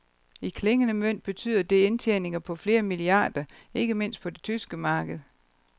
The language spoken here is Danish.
I klingende mønt betyder det indtjeninger på flere milliarder, ikke mindst på det tyske marked.